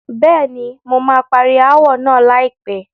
Bẹ́ẹ̀ni, mo máa parí ááwọ̀ náà láìpẹ́.